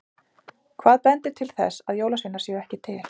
Hvað bendir til þess að jólasveinar séu ekki til?